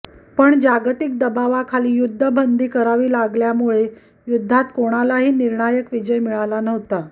पण जागतिक दबावाखाली युद्धबंदी करावी लागल्याने या युद्धात कुणालाही निर्णायक विजय मिळाला नव्हता